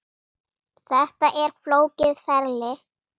Þetta er flókið ferli.